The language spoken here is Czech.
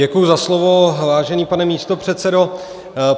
Děkuji za slovo, vážený pane místopředsedo.